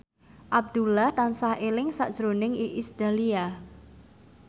Abdullah tansah eling sakjroning Iis Dahlia